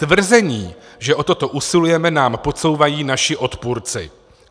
Tvrzení, že o toto usilujeme, nám podsouvají naši odpůrci."